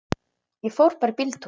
Ég fór bara í bíltúr.